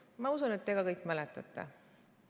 Ma usun, et te ka kõik mäletate seda.